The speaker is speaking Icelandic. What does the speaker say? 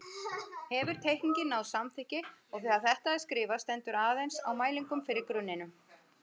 Hefur teikningin náð samþykki og þegar þetta er skrifað stendur aðeins á mælingum fyrir grunninum.